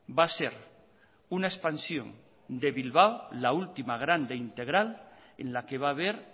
va a ser una expansión de bilbao la última grande integral en la que va a haber